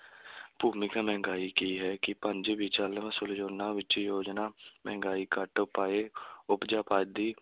ਭੂਮਿਕਾ, ਮਹਿੰਗਾਈ ਕੀ ਹੈ? ਕਿ ਪੰਜ ਵਿੱਚ ਯੋਜਨਾ ਮਹਿੰਗਾਈ, ਘੱਟ ਉਪਾਏ ਉਪਜ, ਅਬਾਦੀ